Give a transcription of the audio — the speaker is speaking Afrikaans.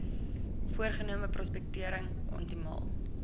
voorgenome prospektering optimaal